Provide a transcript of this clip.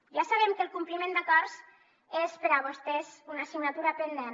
ja sabem que el compliment d’acords és per a vostès una assignatura pendent